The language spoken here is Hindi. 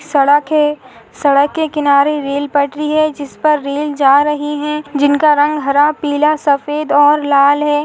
सड़क है सड़क के किनारे रेल पटरी है जिस पर रेल जा रही है जिनका रंग हरा पीला सफ़ेद और लाल है।